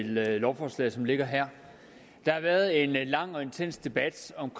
lovforslaget som det ligger her der har været en lang og intens debat om